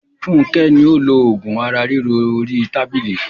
Fúnkẹ́ ni ó lo oògùn ara ríro orí tábìlì.